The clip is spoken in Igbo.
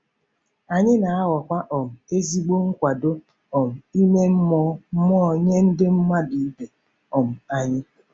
Anyị na-aghọkwa um ezigbo nkwado um ime mmụọ mmụọ nye ndị mmadụ ibe um anyị.